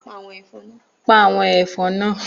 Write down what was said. Pa àwọn ẹ̀fọn náà